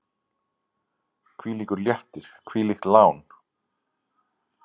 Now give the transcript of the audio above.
Hvílíkur léttir, hvílíkt lán!